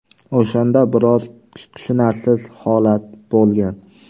O‘shanda biroz tushunarsiz holat bo‘lgan.